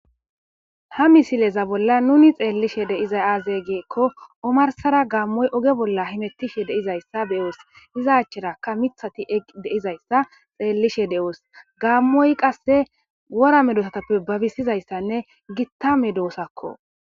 Ha missileza bolla nuni xeellishe dizayissi azze gikko ommarisara gammoyi ogge bollara hemetishshe dizayisa be'os iza acharakka miththati eqqi dizayissa xellishe de'os gammoyi qase wora meddosatappe babisizzayisanne gitta meddosakko.